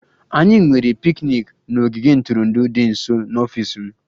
Anyị nwere picnic n'ogige ntụrụndụ dị nso n'ọfịs m